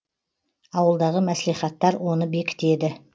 ауылдағы мәслихаттар оны бекітеді